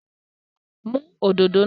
Mú òdodo náà.